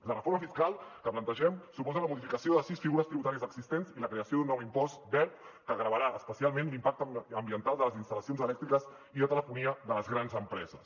la reforma fiscal que plantegem suposa la modificació de sis figures tributàries existents i la creació d’un nou impost verd que gravarà especialment l’impacte ambiental de les instal·lacions elèctriques i de telefonia de les grans empreses